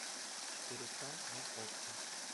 четыре к на окко